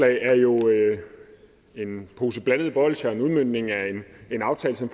er jo en pose blandede bolsjer og en udmøntning af en aftale som